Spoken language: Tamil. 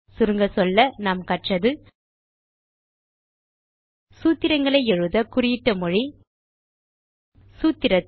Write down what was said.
சுருங்கச் சொல்ல நாம் கற்றது சூத்திரங்களை எழுத குறியிட்ட மொழி சூத்திரத்தில்